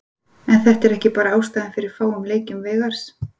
En er þetta ekki bara ástæðan fyrir fáum leikjum Veigars?